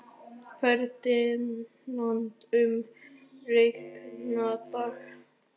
Ferdinand, mun rigna í dag?